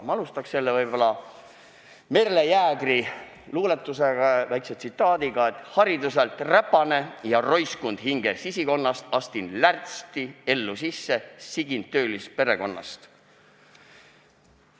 Ma alustan Merle Jäägeri luuletusega, väikese tsitaadiga: "Hariduselt räpane ja roiskund hinge sisikonnast, astun lärtsti ellu sisse, sigin töölisperekonnast.